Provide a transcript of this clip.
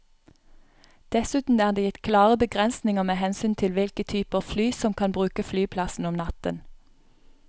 Dessuten er det gitt klare begrensninger med hensyn til hvilke typer fly som kan bruke flyplassen om natten.